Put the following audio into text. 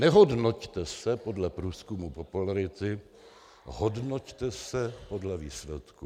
Nehodnoťte se podle průzkumu popularity, hodnoťte se podle výsledků.